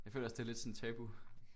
Jeg føler også det er lidt sådan tabu